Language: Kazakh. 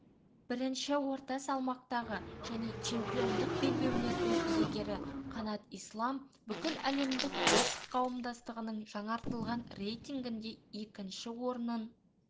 бірінші орта салмақтағы және чемпиондық белбеулерінің иегері қанат ислам бүкіләлемдік бокс қауымдастығының жаңартылған рейтингінде екінші орнын